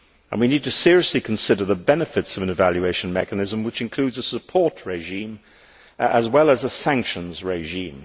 We need to seriously consider the benefits of an evaluation mechanism which includes a support regime as well as a sanctions regime.